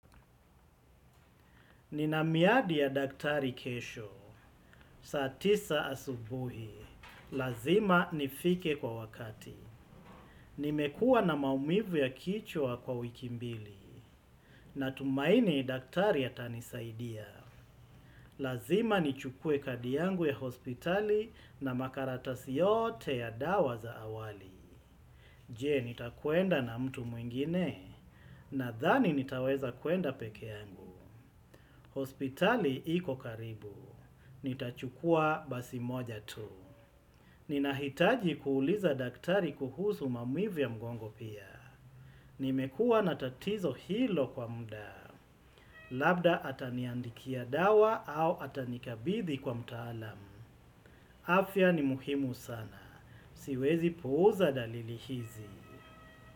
Nina miadi ya daktari kesho. Saa tisa asubuhi. Lazima nifike kwa wakati. Nimekuwa na maumivu ya kichwa kwa wiki mbili. Natumaini daktari atanisaidia. Lazima nichukue kadi yangu ya hospitali na makaratasi yoote ya dawa za awali. Je, nitakwenda na mtu mwingine? Nadhani nitaweza kuenda peke yangu. Hospitali iko karibu. Nitachukua basi moja tu. Ninahitaji kuuliza daktari kuhusu maumivu ya mgongo pia. Nimekuwa na tatizo hilo kwa mda. Labda ataniandikia dawa au atanikabidhi kwa mtaalam. Afya ni muhimu sana. Siwezi puuza dalili hizi.